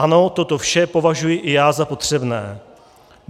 Ano, toto vše považuji i já za potřebné.